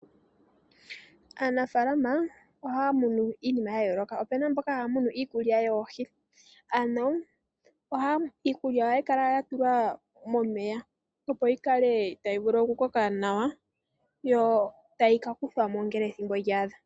Aanafaalama ohaya munu iinima ya yooloka. Opu na mboka haya munu iikulya yoohi, ano iikulya ohayi kala ya tulwa momeya, opo yi kale tayi vulu okukoka nawa yo tayi ka kuthwa mo ngele ethimbo lya adha.